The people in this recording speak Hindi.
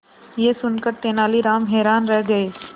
यह सुनकर तेनालीराम हैरान रह गए